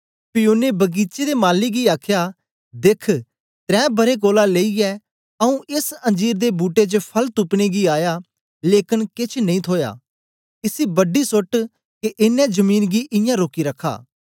पी ओनें बगीचे दे माली गी आखया देख्ख त्रैं बरें कोलां लेईयै आऊँ एस अंजीर दे बूट्टे च फल तुपने गी आया लेकन केछ नेई थोया इसी बडी सोट्ट के एनें जमीन गी ईयां रोकी रखा